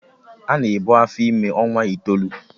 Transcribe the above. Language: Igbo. Ana ebu afọ ime ọnwa itoolu